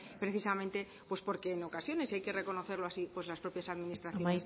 precisamente porque en ocasiones y hay que reconocerlo así las propias administraciones